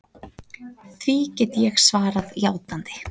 Því get ég svarað játandi.